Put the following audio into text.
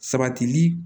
Sabatili